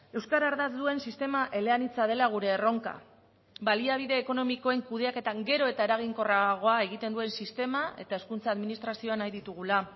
euskara ardatz duen sistema eleanitza dela gure erronka baliabide ekonomikoen kudeaketan gero eta eraginkorragoa egiten duen sistema eta hezkuntza administrazioa nahi ditugula